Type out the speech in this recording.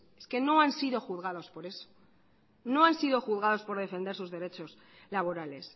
es que no han sido juzgados por eso no han sido juzgados por defender sus derechos laborales